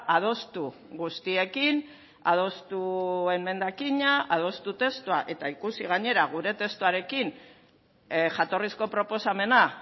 adostu guztiekin adostu emendakina adostu testua eta ikusi gainera gure testuarekin jatorrizko proposamena